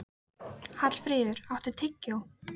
Hallfríður, áttu tyggjó?